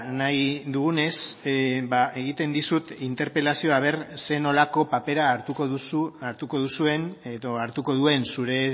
nahi dugunez egiten dizut interpelazioa a ver zer nolako papera hartuko duzu hartuko duzuen edo hartuko duen zure